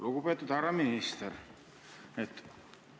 Lugupeetud härra minister!